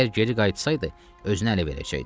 Əgər geri qayıtsaydı, özünü ələ verəcəkdi.